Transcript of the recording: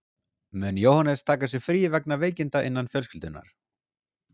Mun Jóhannes taka sér frí vegna veikinda innan fjölskyldunnar.